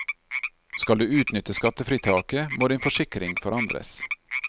Skal du utnytte skattefritaket, må din forsikring forandres.